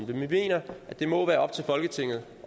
det men vi mener at det må være op til folketinget